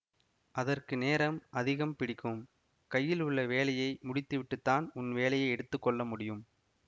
அதற்கு நேரம் அதிகம் பிடிக்கும் கையில் உள்ள வேலையை முடித்துவிட்டுத் தான் உன் வேலையை எடுத்து கொள்ள முடியும்